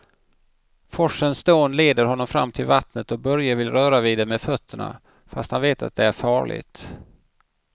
Forsens dån leder honom fram till vattnet och Börje vill röra vid det med fötterna, fast han vet att det är farligt.